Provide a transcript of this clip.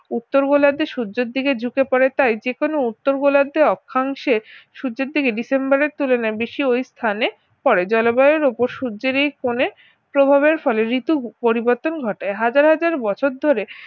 উত্তর গোলার্ধে সূর্যের দিকে ঝুঁকে পড়ে তাই যে কোনো উত্তর গোলার্ধে অক্ষাংশের সূর্যের দিকে ডিসেম্বরের তুলনায় বেশি ওই স্থানে পড়ে জলবায়ুর উপর সূর্যের এই কোনে প্রভাবের ফলে ঋতু পরিবর্তন ঘটে হাজার হাজার বছর ধরে